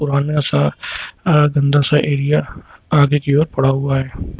बहुत बड़ा सा अह दूसरा एरिया आगे की ओर पड़ा हुआ है।